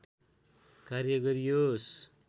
कार्य गरियोस्